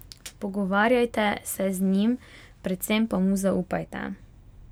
Pogovarjajte se z njim, predvsem pa mu zaupajte!